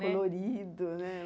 Colorido, né?